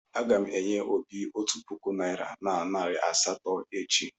Aga m enye Obi otu puku naịra na nari asatọ echi.